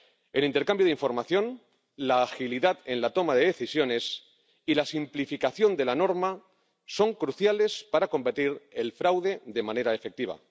El intercambio de información, la agilidad en la toma de decisiones y la simplificación de la norma son cruciales para combatir el fraude de manera efectiva.